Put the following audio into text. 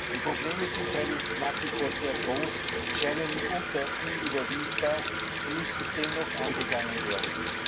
Die Probleme sind freilich nach wie vor sehr groß, scheinen mitunter unüberwindbar und müssen dennoch angegangen werden.